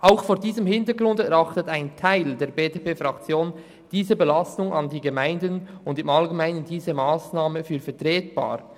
Auch vor diesem Hintergrund erachtet ein Teil der BDP-Fraktion diese Belastung der Gemeinden und diese Massnahme im Allgemeinen als vertretbar.